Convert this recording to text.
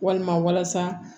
Walima walasa